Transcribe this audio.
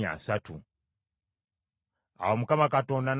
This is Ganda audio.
Awo Mukama Katonda n’agamba Musa nti,